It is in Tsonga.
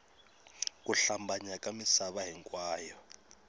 ku hlambanya ka misava hinkwayo